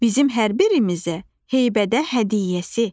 Bizim hər birimizə heybədə hədiyyəsi.